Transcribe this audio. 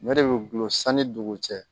Ɲɔ de be gulo sanni dugu cɛ